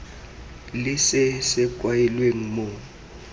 le se se kailweng mo